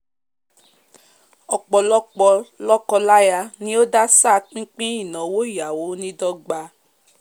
ọ̀pọ̀lopọ̀ lọ́kọ- láyà ni o dásà pín pín ìnáwó ìyàwó ní dọgba